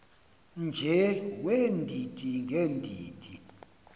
nje weendidi ngeendidi